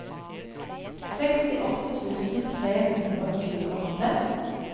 sekstiåtte tusen tre hundre og tjueåtte